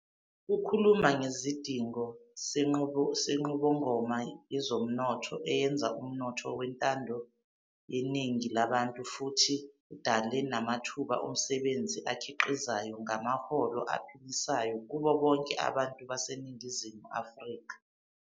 Ukhuluma ngesidingo senqubomgomo yezomnotho eyenza umnotho wentando yeningi labantu futhi udale namathuba omsebenzi akhiqizayo ngamaholo aphilisayo kubo bonke abantu baseNingizimu Afrika.